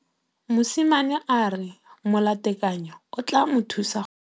Mosimane a re molatekanyô o tla mo thusa go bala mo molapalong.